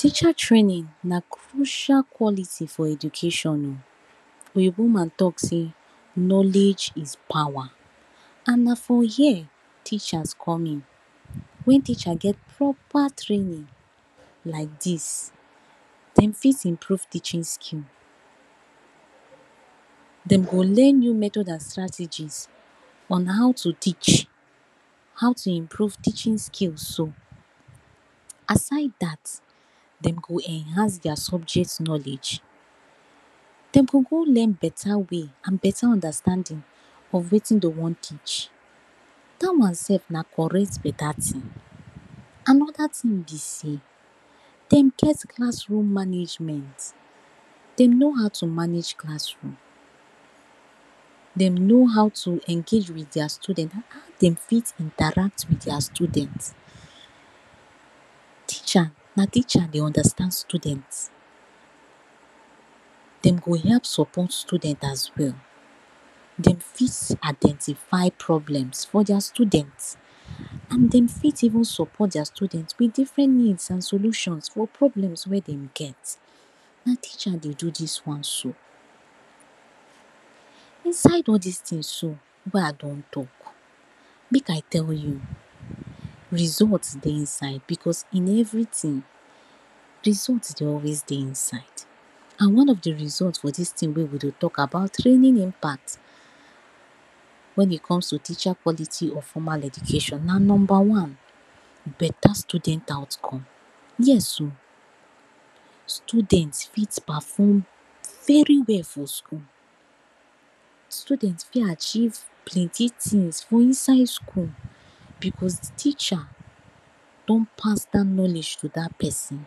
Teacher traing na crucial quality for education, oyinbo man tlk sey knowledge is power and na for hia teach come. Wen teachers get proper training like dis dey fit improve teaching skill, dem go learn new method and strategies on how to teach, how to improve teaching skills so. Aside dat dem go enhance dia subject knowledge, dem go go learn beta way and beta understanding of watin dem wan teach dat one self na beta correct tin. Anoda tin be sey dem get classroom management, dem know how to manage classroom, dem know how to engage with dia student, dem fit interact wit dia student, teacher na teacher dey understand student, dem go help support student as well. Dem fit identify problem for dia student and dem fit support dia student wit different needs and solutions or problems wey dem get, na teachers dey do dis one so. Inside all dis tins so wey I don talk make I tell you result dey inside because in everytin result dey always dey inside and one of di result for dis tin wey we dey talk about training impact wen it comes to teacher quality or formal education na number one. Beta student outcome, yes o student fit perform very well for school, student fit achieve plenty tins for inside school because di teacher don pass dat knowledge to dat pesin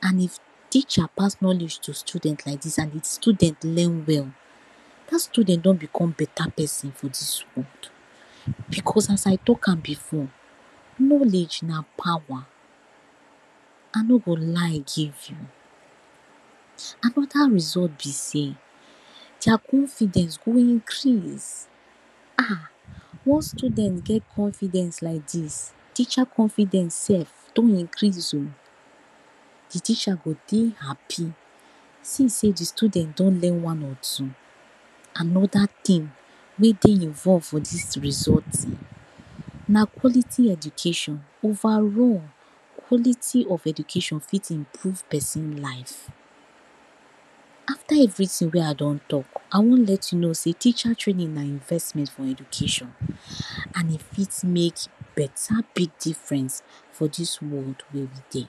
and if teacher pass knowledge to student like dis and student learn well dat student don become beta peson for di school because as I talk am before knowledge na power I no go lie give you. Anoda result be sey dia confidence go increase ah once student get confidence like dis, teacher confidence don increase o, di teacher go dey happy since sey di student don learn one or two. Anoda tin wey dey involve for dis result na quality education, overall quality of education fit improve pesin life, after everytin wey I don talk I want let you know sey teacher training na investment for education and e fit make beta difference for dis world wey we dey